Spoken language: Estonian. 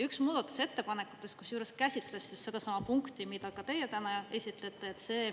Üks muudatusettepanekutest kusjuures käsitles sedasama punkti, mida ka teie täna esitlete.